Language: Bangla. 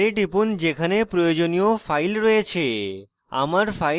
সেই folder টিপুন যেখানে প্রয়োজনীয় file রয়েছে